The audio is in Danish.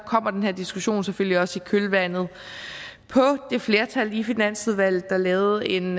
kommer den her diskussion selvfølgelig også i kølvandet på det flertal i finansudvalget der lavede en